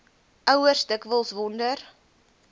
ouers dikwels wonder